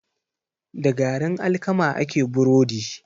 Da garin alkama ake burodi.